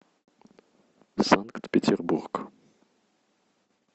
санкт петербург